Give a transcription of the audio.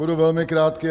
Budu velmi krátký.